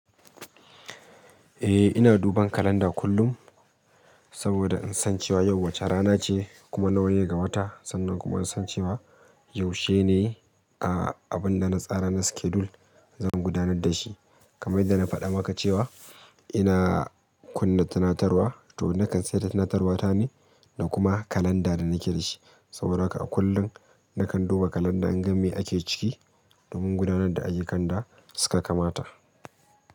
Ehh, ina duban calendar kullum saboda insan cewa yau wace ranace kuma nawane gawata sannan kuma insan cewa yaushe ne a abun dana tsara na schedule zan gudanar dashi kamar yanda faɗa maka cewa ina kunna tunatarwa, toh nakan saita tunatarwata ne da kuma calendar da nake dashi, saboda haka akullum nakan duba calander inga mai ake ciki domin gudanar da ayyukan da suka kamata.